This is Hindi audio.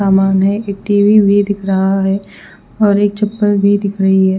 सामान है एक टी_वि भी दिख रहा है और एक चपल भी दिखर ही है।